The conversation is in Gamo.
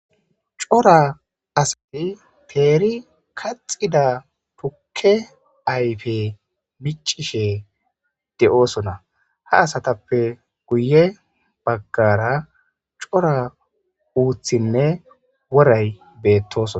Coora asati kehi teri kaxida tuke ayipe micishe de'osona ha asatape guyebagara coora uthinee woray betosona